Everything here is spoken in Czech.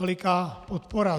Veliká podpora.